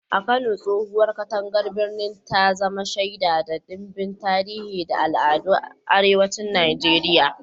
A Kano, tsohowar katangar birnin ta zama shaida ga ɗimbin tarihi da al'adun arewacin Najeriya.